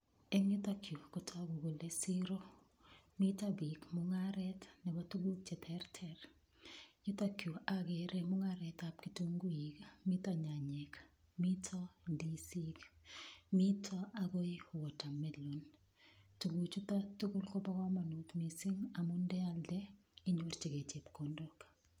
Eng' yutokyu kotoku kole siro mito biik mung'aret nebo tukuk cheterter yutokyu akere mung'aretab kitunguik mito nyanyek mito ndisik mito ako watermelon tukuchuto tugul kobo komonut mising' amun ndealde inyorchigei chepkondok